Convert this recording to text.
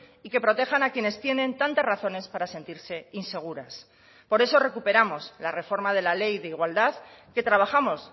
y que protejan a quienes tienen tantas razones para sentirse inseguras por eso recuperamos la reforma de la ley de igualdad que trabajamos